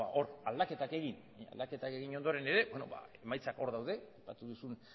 hor aldaketak egin ondoren ere emaitzak hor daude aipatu duzun